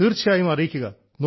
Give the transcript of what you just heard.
തീർച്ചയായും അറിയിക്കുക